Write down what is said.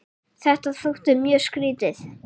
Þetta þótti mjög skrýtið.